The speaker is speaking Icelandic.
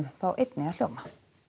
fá einnig að hljóma